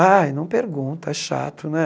Aí, não pergunta, é chato, né?